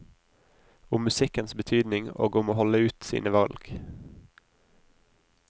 Om musikkens betydning, og om å holde ut sine valg.